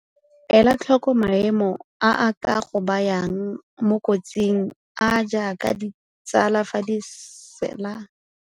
Ela tlhoko maemo a a ka go bayang mo kotsing, a a jaaka ditsala fa di sela bojalwa kgotsa di dirisa diritibatsi, e leng seo se ka dirang gore o iphitlhele o tsene mo thobalanong e e sa babalesegang.